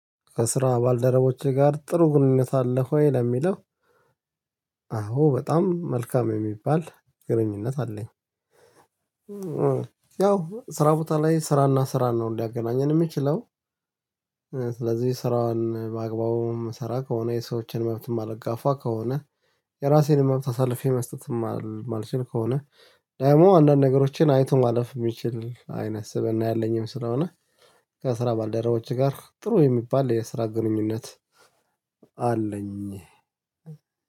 ከስራ ባልደረቦቼ ጋር ጥሩ ግንኙነት አለህ ወይ ለሚለው? አዎ በጣም መልካም የሚባል ግንኙነት አለኝ። ያው ስራ ቦታ ላይ ስራና ስራ ነው ሊያገናኘን የምችለው። ስለዚህ ስራን ባግባቡን ምሰራ ከሆነ የሰዎችን መብት ማልጋፋ ከሆነ የራሴን መብት አሳልፌ መስጠት የማልችል ከሆነ ደግሞ አንዳንድ ነገሮችን አይቶ ማለፍ የሚችል አይነት ስብእና ያለኝም ስለሆነ። ከስራ ባልደረቦች ጋር ጥሩ የሚባል የስራ ግንኙነት። አለኝ።